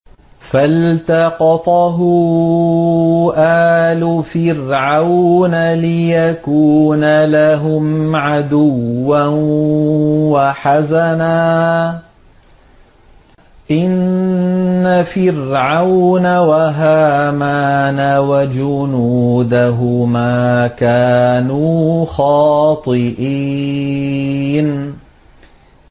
فَالْتَقَطَهُ آلُ فِرْعَوْنَ لِيَكُونَ لَهُمْ عَدُوًّا وَحَزَنًا ۗ إِنَّ فِرْعَوْنَ وَهَامَانَ وَجُنُودَهُمَا كَانُوا خَاطِئِينَ